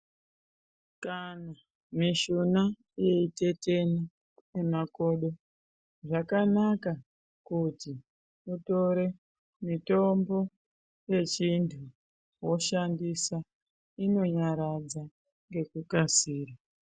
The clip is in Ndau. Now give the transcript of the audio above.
Kana mishuna yeitetena nemakodo zvakanaka kuti utore mitombo yechindla inonyaradza ngekukasira.